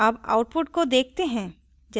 अब output को देखते हैं